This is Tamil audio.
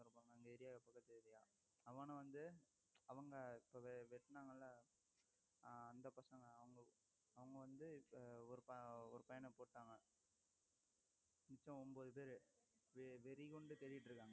அவன வந்த அவங்க இப்பவே வெட்டுனாங்கல்ல ஆஹ் அந்த பசங்க அவங்க அவங்க வந்து இப்ப ஒரு பையனை போட்டாங்க மிச்சம் ஒன்பது பேரு வெறி கொண்டு தேடிட்டிருக்காங்க